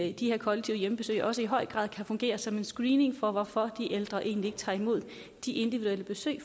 i de her kollektive hjemmebesøg også i høj grad kan fungere som en screening af hvorfor de ældre egentlig ikke tager imod de individuelle besøg